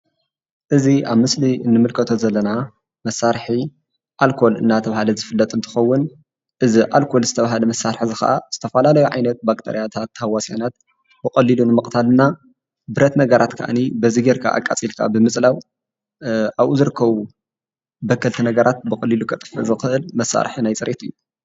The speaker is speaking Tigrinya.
እዚ ኣብ ምስሊ እንምልከቶ ዘለና መሳርሒ ኣልኮል አንዳተባሃለ ዝፍለጥ እትከውን እዚ ኣልኮል ዝተባሃለ መሳርሒ እዚ ከዓ ዝተፈላለዩ ዓይነት ባክተርያታት ታሃዋስያናት ብቀሊሉ ንምቅታል እና ብረት ነገራት ከዓኒ በዚ ጌርካ ኣቃፂልካ ብምፅላው ኣብኡ ዝርከቡ በከልቲ ነገራት ብቀሊሉ ከጥፈእ ዝክእል መሳርሒ ናይ ፅርየት እዩ።